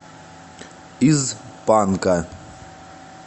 из панка